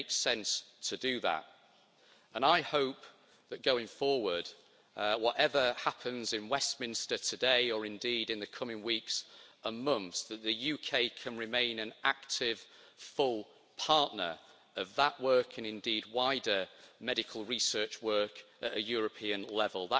It makes sense to do that, and I hope that going forward, whatever happens in Westminster today or indeed, in the coming weeks and months, that the UK can remain an active, full partner of that work and indeed, wider medical research work at a European level.